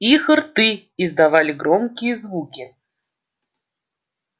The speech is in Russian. их рты издавали громкие звуки